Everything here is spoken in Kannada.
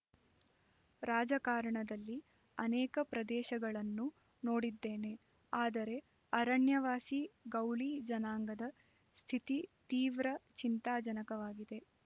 ರಾಜಕಾರಣದಲ್ಲಿ ಅನೇಕ ಪ್ರದೇಶಗಳನ್ನು ನೋಡಿದ್ದೇನೆ ಆದರೆ ಅರಣ್ಯವಾಸಿ ಗೌಳಿ ಜನಾಂಗದ ಸ್ಥಿತಿ ತೀವ್ರ ಚಿಂತಾಜನಕವಾಗಿದೆ